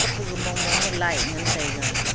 puga mong mong ma light ngan taiga.